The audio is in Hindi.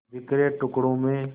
बिखरे टुकड़ों में